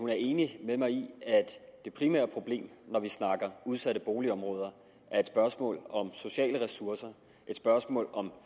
er enig med mig i at det primære problem når vi snakker udsatte boligområder er et spørgsmål om sociale ressourcer et spørgsmål om